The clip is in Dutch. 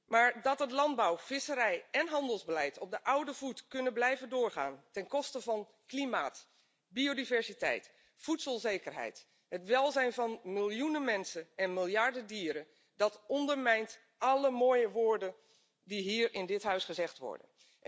Maar dat het landbouw visserij en handelsbeleid op de oude voet kunnen blijven doorgaan ten koste van klimaat, biodiversiteit, voedselzekerheid, het welzijn van miljoenen mensen en miljarden dieren, dat ondermijnt alle mooie woorden die hier in dit Huis gezegd worden.